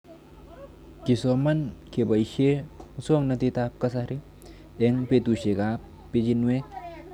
Kesoman kepoishe muswog'natet ab kasari eng'petushek ab pichinwek